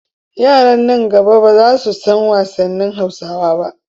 Yara nan gaba ba za su san wasannin Hausawa ba.